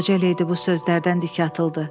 Qoca ledi bu sözlərdən dik atıldı.